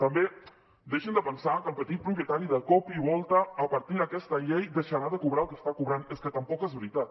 també deixin de pensar que el petit propietari de cop i volta a partir d’aquesta llei deixarà de cobrar el que està cobrant és que tampoc és veritat